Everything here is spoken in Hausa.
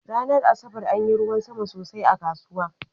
Ranar Asabar anyi ruwan sama sosai a kasuwa.